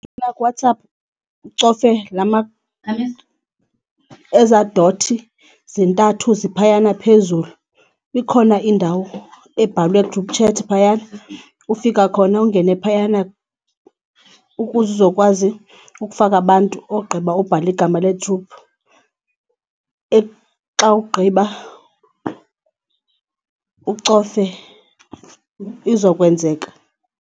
kuWhatsApp ucofe ezaa dothi zintathu ziphayana phezulu. Ikhona indawo ebhalwe group chat phayana, ufika khona ungene phayana ukuze uzokwazi ukufaka abantu ogqiba ubhale igama le-group. Xa ugqiba ucofe, izokwenzeka.